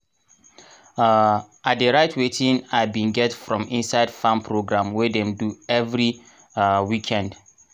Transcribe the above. um i dey write wetin i bin get from inside farm program wey dem do everi um weekend.